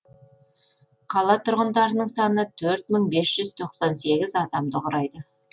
қала тұрғындарының саны төрт мың бес жүз тоқсан сегіз адамды құрайды